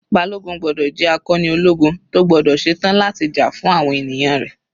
Balogun gbọ́dọ̀ jẹ́ akọni ológun tó gbọ́dọ̀ ṣe tán láti jà fún àwọn ènìyàn rẹ̀.